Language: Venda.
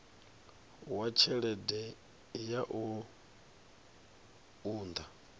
wa tshelede ya u unḓa